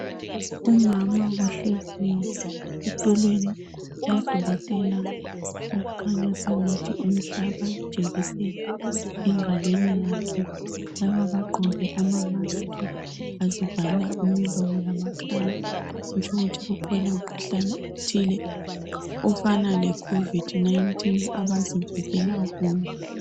Umama ohleziyo esitulweni lodokotela okhanya sengathi umhlaba ijekiseni engalweni yakhe. Laba bagqoke ama mask bazivala imilomo lamakhala. Kutsho ukuthi kukhona umkhuhlane othile ofana le COVID 19 abazivikela kuwo.